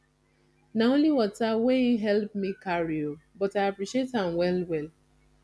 na only water wey him helep me carry o but i appreciate am well well